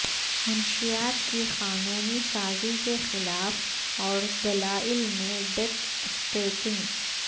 منشیات کی قانونی سازی کے خلاف اور دلائل میں ڈیک اسٹیکنگ